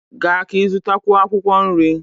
Gaa ka ị zụtakwuo akwụkwọ nri!